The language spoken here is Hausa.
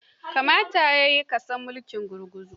You should have know communism.